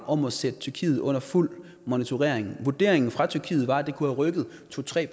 om at sætte tyrkiet under fuld monitorering vurderingen fra tyrkiet var at det kunne have rykket to tre